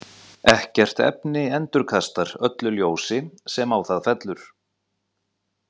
Ekkert efni endurkastar öllu ljósi sem á það fellur.